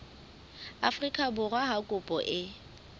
afrika borwa ha kopo e